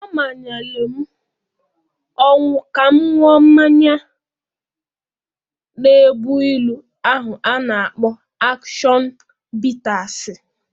Ọ manyere m ọnwụ ka m ṅụọ mmanya na-egbu ilu ahụ a na-akpọ ashọn bitasị.